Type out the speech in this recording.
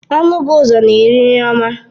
Anụ bụ ụzọ na-eri nri ọma.